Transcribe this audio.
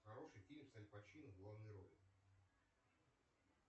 хороший фильм с аль пачино в главной роли